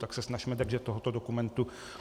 Tak se snažme držet tohoto dokumentu.